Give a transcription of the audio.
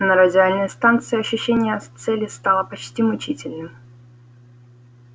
на радиальной станции ощущение цели стало почти мучительным